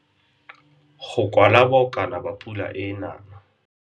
Go kwala bokana ba pula e e nang.